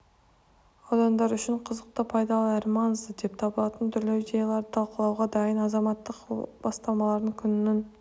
аудандар үшін қызықты пайдалы әрі маңызды деп табылатын түрлі идеяларды талқылауға дайын азаматтық бастамалар күнінің